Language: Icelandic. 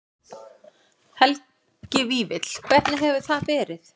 Helgi Vífill: Hvernig hefur það verið?